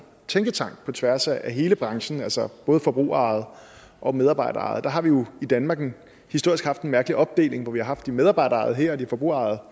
tænketank på tværs af hele branchen altså både forbrugerejede og medarbejderejede virksomheder der har vi jo i danmark historisk haft en mærkelig opdeling hvor vi har haft de medarbejderejede virksomheder her og de forbrugerejede